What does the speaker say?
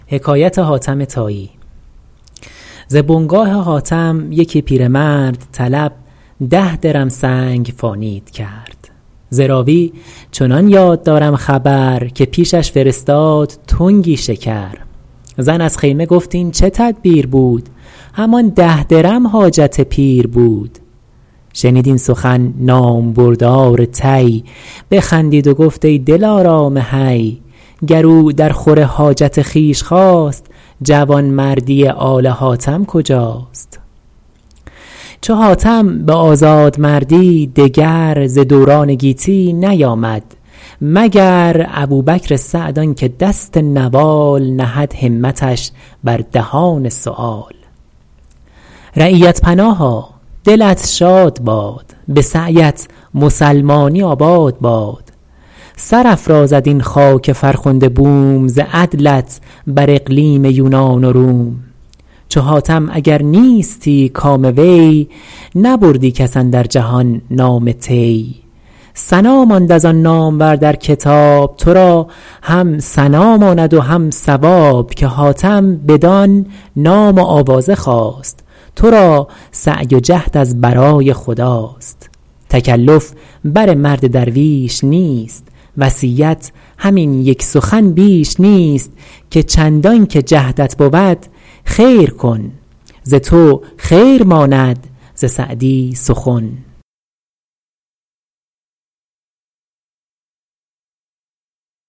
ز بنگاه حاتم یکی پیرمرد طلب ده درم سنگ فانید کرد ز راوی چنان یاد دارم خبر که پیشش فرستاد تنگی شکر زن از خیمه گفت این چه تدبیر بود همان ده درم حاجت پیر بود شنید این سخن نامبردار طی بخندید و گفت ای دلارام حی گر او در خور حاجت خویش خواست جوانمردی آل حاتم کجاست چو حاتم به آزادمردی دگر ز دوران گیتی نیامد مگر ابوبکر سعد آن که دست نوال نهد همتش بر دهان سؤال رعیت پناها دلت شاد باد به سعی ات مسلمانی آباد باد سرافرازد این خاک فرخنده بوم ز عدلت بر اقلیم یونان و روم چو حاتم اگر نیستی کام وی نبردی کس اندر جهان نام طی ثنا ماند از آن نامور در کتاب تو را هم ثنا ماند و هم ثواب که حاتم بدان نام و آوازه خواست تو را سعی و جهد از برای خداست تکلف بر مرد درویش نیست وصیت همین یک سخن بیش نیست که چندان که جهدت بود خیر کن ز تو خیر ماند ز سعدی سخن